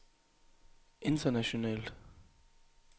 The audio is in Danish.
internationalt